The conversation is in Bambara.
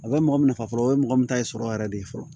A bɛ mɔgɔ nafa fɔlɔ o ye mɔgɔ min ta ye sɔrɔ yɛrɛ de ye fɔlɔ